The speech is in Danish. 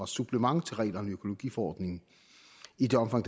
supplement til reglerne i økologiforordningen i det omfang